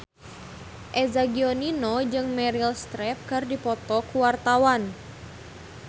Eza Gionino jeung Meryl Streep keur dipoto ku wartawan